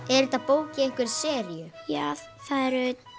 er þetta bók í einhverri seríu já það eru